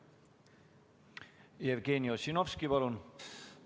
Jevgeni Ossinovski, palun!